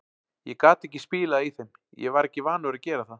Ég gat ekki spilað í þeim, ég var ekki vanur að gera það.